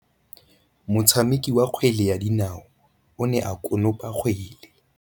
Motshameki wa kgwele ya dinaô o ne a konopa kgwele.